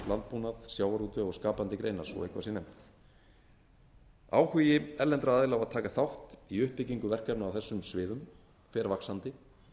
landbúnað sjávarútveg og skapandi greinar svo eitthvað sé nefnt áhugi erlendra aðila á að taka þátt í uppbyggingu verkefna á þessum sviðum fer vaxandi